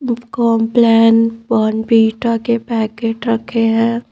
Complan Bournvita के packet रखे हैं।